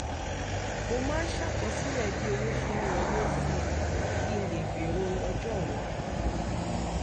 mo máa ń ṣàkọsílẹ̀ bí owó ṣe ń wọlé si kí n lè gbèrò ọjọ́ọ̀la